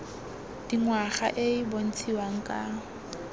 dingwaga e e bontshiwang ka